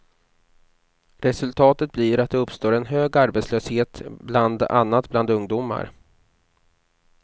Resultatet blir att det uppstår en hög arbetslöshet bland annat bland ungdomar.